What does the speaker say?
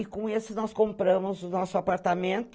E com esse nós compramos o nosso apartamento.